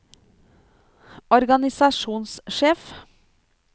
organisasjonssjef